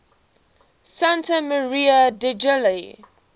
santa maria degli